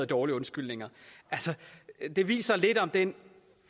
dårlige undskyldninger viser lidt om den